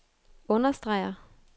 understreger